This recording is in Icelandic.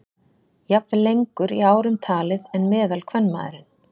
Jafnvel lengur í árum talið en meðalkvenmaðurinn.